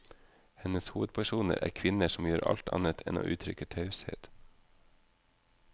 Hennes hovedpersoner er kvinner som gjør alt annet enn å uttrykke taushet.